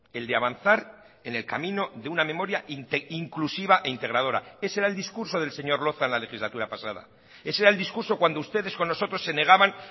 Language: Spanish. el de avanzar en el camino de una memoria inclusiva e integradora ese era el discurso del señor loza en la legislatura pasada ese era el discurso cuando ustedes con nosotros se negaban